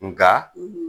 Nka